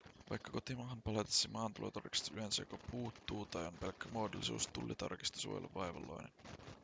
vaikka kotimaahan palatessasi maahantulotarkistus yleensä joko puuttuu tai on pelkkä muodollisuus tullitarkistus voi olla vaivalloinen